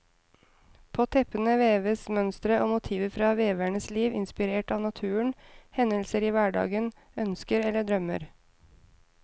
På teppene veves mønstre og motiver fra veverens liv, inspirert av naturen, hendelser i hverdagen, ønsker eller drømmer.